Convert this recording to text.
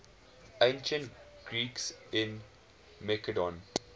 ancient greeks in macedon